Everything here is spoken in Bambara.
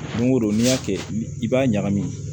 Don o don n'i y'a kɛ i b'a ɲagami